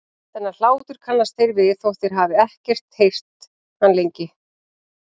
Þennan hlátur kannast þeir við þótt þeir hafi ekki heyrt hann lengi.